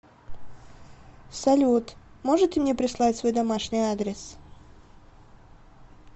салют можете мне прислать свой домашний адрес